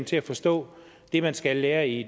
til at forstå det man skal lære i